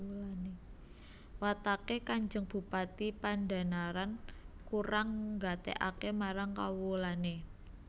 Wataké Kanjeng Bupati Pandhanaran kurang nggatékaké marang kawulané